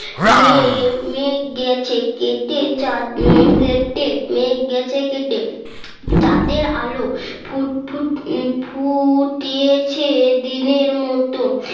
মেঘ মেঘ গেছে কেটে চাঁদ কেটে মেঘ গেছে কেটে চাঁদের আলো ফুটফুট ফুটছে দিনের মতো